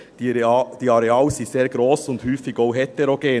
Diese Areale sind sehr gross und häufig auch heterogen.